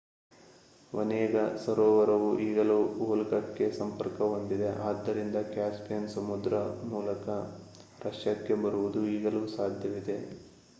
Onega ಸರೋವರವು ಈಗಲೂ ವೋಲ್ಗಾಕ್ಕೆ ಸಂಪರ್ಕ ಹೊಂದಿದೆ ಆದ್ದರಿಂದ ಕ್ಯಾಸ್ಪಿಯನ್ ಸಮುದ್ರ ಮೂಲಕ ರಷ್ಯಾಕ್ಕೆ ಬರುವುದು ಈಗಲೂ ಸಾಧ್ಯವಿದೆ